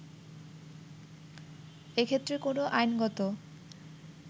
এ ক্ষেত্রে কোন আইনগত